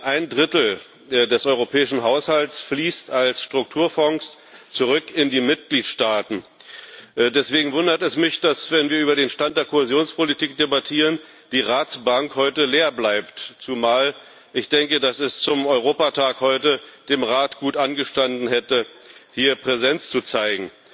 Ein Drittel des Europäischen Haushalts fließt als Strukturfonds zurück in die Mitgliedstaaten. Deswegen wundert es mich, dass heute, wenn wir über den Stand der Kohäsionspolitik debattieren, die Ratsbank leer bleibt, zumal ich denke, dass es zum Europatag heute dem Rat gut angestanden hätte, hier Präsenz zu zeigen.